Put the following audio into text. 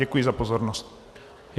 Děkuji za pozornost.